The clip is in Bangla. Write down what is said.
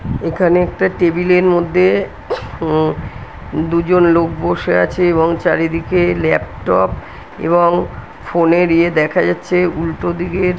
এখানে একটা টেবিল -এর মধ্যে উম দুজন লোক বসে আছে এবং চারিদিকে ল্যাপটপ এবং ফোন -এর ইয়ে দেখা যাচ্ছে। উল্টোদিকের--